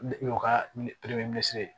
N'o ka ye